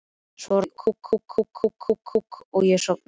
Svo rann aftur á mig mók og ég sofnaði.